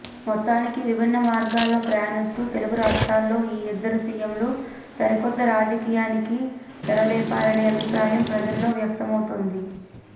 మొత్తానికి విభిన్నమార్గాల్లో ప్రయాణిస్తూ తెలుగు రాష్ట్రాల్లో ఈ ఇద్దరు సీఎంలు సరికొత్త రాజకీయానికి తెరలేపారనే అభిప్రాయం ప్రజల్లో వ్యక్తమవుతోంది